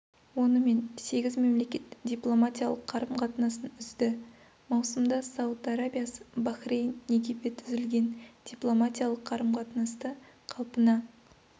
онымен сегіз мемлекет дипломатиялық қарым-қатынасын үзді маусымда сауд арабиясы бахрейн египет үзілген дипломатиялық қарым-қатынасты қалпына